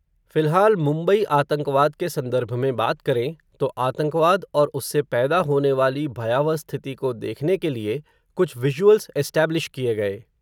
फ़िलहाल, मुंबई आतंकवाद के संदर्भ में बात करें, तो आतंकवाद और उससे पैदा होनेवाली भयावह स्थिति को देखने के लिए, कुछ विज़ुअल्स एस्टैब्लिश किए गए